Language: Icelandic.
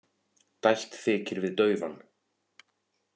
Dælt þykir við daufan.